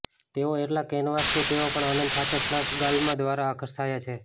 તેઓ એટલા કેનવાસ કે તેઓ પણ આનંદ સાથે ફ્લશ ગાલમાં દ્વારા આકર્ષાયા છે